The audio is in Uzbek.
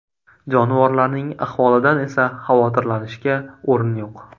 Jonivorlarning ahvolidan esa xavotirlanishga o‘rin yo‘q.